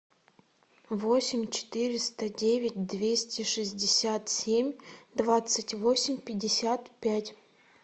восемь четыреста девять двести шестьдесят семь двадцать восемь пятьдесят пять